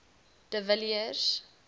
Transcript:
de villiers